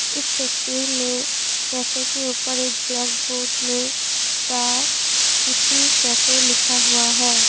इस तस्वीर में कैफे के ऊपर एक ब्लैक बोर्ड में द सिटी कैफे लिखा हुआ है।